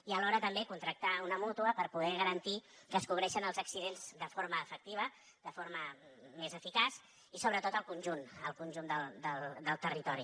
i alhora també contractar una mútua per poder garantir que es cobreixen els accidents de forma efectiva de forma més eficaç i sobretot al conjunt al conjunt del territori